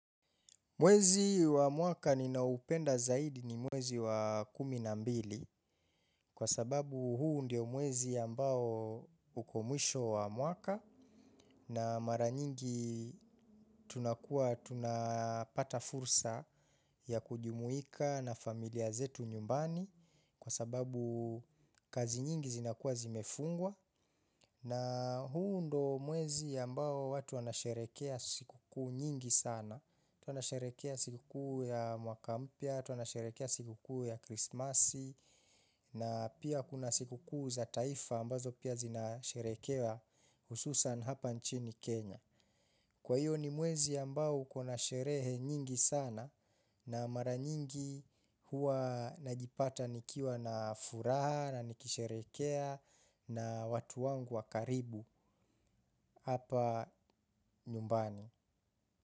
Mwezi wa mwaka ninao upenda zaidi ni mwezi wa kumi na mbili kwa sababu huu ndio mwezi ambao uko mwisho wa mwaka na mara nyingi tunakuwa tunapata fursa ya kujumuika na familia zetu nyumbani kwa sababu kazi nyingi zinakuwa zimefungwa na huu ndo mwezi ambao watu wanasherekea siku kuu nyingi sana watu wanasherekea siku kuu ya mwaka mpya, watu wanasherekea siku kuu ya krismasi na pia kuna siku kuu za taifa ambazo pia zinasherekea hususan hapa nchini Kenya. Kwa hiyo ni mwezi ambao kuna sherehe nyingi sana na mara nyingi huwa najipata nikiwa na furaha na nikisherekea na watu wangu wa karibu hapa nyumbani.